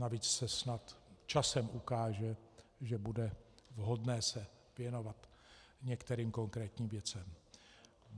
Navíc se snad časem ukáže, že bude vhodné se věnovat některým konkrétním věcem.